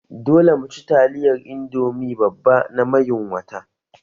Dole mu ci taliyar Indomi babba na mayun wata!